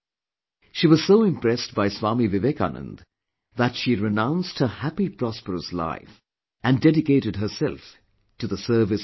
She was so impressed by Swami Vivekanand that she renounced her happy prosperous life and dedicated herself to the service of the poor